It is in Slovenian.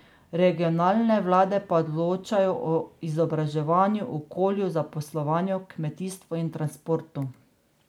Regionalne vlade pa odločajo o izobraževanju, okolju, zaposlovanju, kmetijstvu in transportu.